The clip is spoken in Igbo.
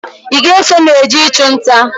Ị ga-eso m jee ị chụ nta?